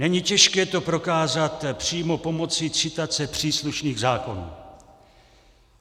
Není těžké to prokázat přímo pomocí citace příslušných zákonů.